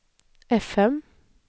fm